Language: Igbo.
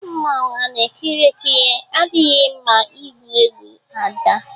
Mmanwu ana ekiri ekiri adịghị mma ịgwu egwu aja